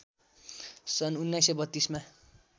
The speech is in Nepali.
सन् १९३२ मा